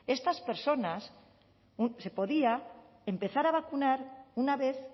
estas personas se podía empezar a vacunar una vez